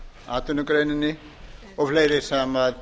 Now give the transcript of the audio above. atvinnugreininni og fleiri sem